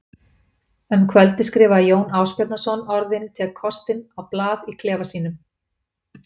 Um kvöldið skrifaði Jón Ásbjarnarson orðin tek kostinn á blað í klefa sínum.